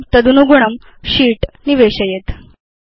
इदं तदनुगुणं शीत् निवेशयेत्